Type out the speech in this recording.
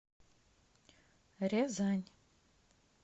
рязань